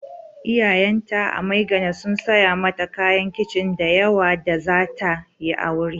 Iyayenta a Maigana sun saya mata kayan kicin da yawa da za ta yi aure.